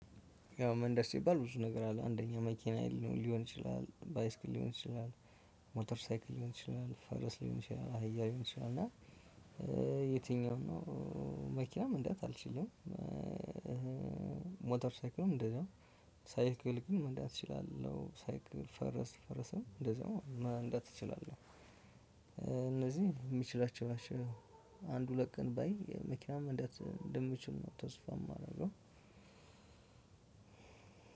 ያው መንዳት ሲባል ብዙ ነገር አለ አንደኛ መኪና ሊሆን ይችላል በይስክል ሊሆን ይችላል ሞተር ሳይክል ሊሆን ይችላል ፈረስ ሊሆን ይችላል አህያ ሊሆን ይችላል እና የትኛው ነው? መኪናም መንዳት አልችልም። ሞተር ሳይክልም እንደዛው ሳይክል ግን መንደት እችላለሁ ሳይክል ፈረስ ፈረስም እንደዛው መንዳት እችላለሁ። እነዚህ የምችላቸው አንድ ሁለት ቀን ባይ የመኪና መንዳት እንደምችል ነው። ተስፋ ማደርገው።